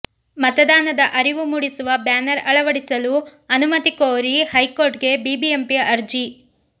ಮತದಾನದ ಅರಿವು ಮೂಡಿಸುವ ಬ್ಯಾನರ್ ಅಳವಡಿಸಲು ಅನುಮತಿ ಕೋರಿ ಹೈಕೋರ್ಟ್ ಗೆ ಬಿಬಿಎಂಪಿ ಅರ್ಜಿ